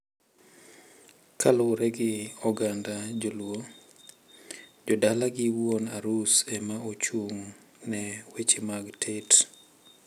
Kaluwore gi oganda joluo, jodala gi wuon arus ema ochung`ne weche mag tet.